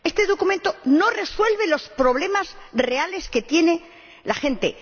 Este documento no resuelve los problemas reales que tiene la gente.